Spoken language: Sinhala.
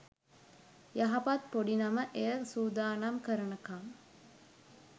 යහපත් පොඩි නම එය සූදානම් කරනකම්